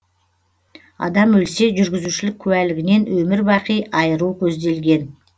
адам өлсе жүргізушілік куәлігінен өмір бақи айыру көзделген